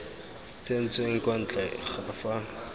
tsentsweng kwa ntle ga fa